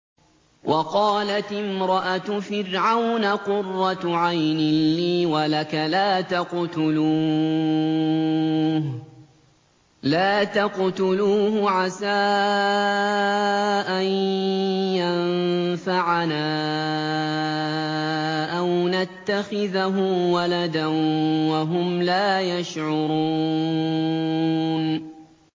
وَقَالَتِ امْرَأَتُ فِرْعَوْنَ قُرَّتُ عَيْنٍ لِّي وَلَكَ ۖ لَا تَقْتُلُوهُ عَسَىٰ أَن يَنفَعَنَا أَوْ نَتَّخِذَهُ وَلَدًا وَهُمْ لَا يَشْعُرُونَ